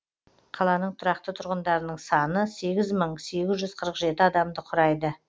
қаланың тұрақты тұрғындарының саны сегіз мың сегіз жүз қырық жеті адамды құрайды